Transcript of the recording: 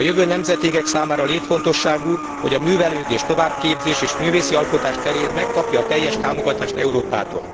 A jövő nemzedékek számára létfontosságú, hogy a művelődés, továbbképzés és művészi alkotás terén megkapja a teljes támogatást Európától.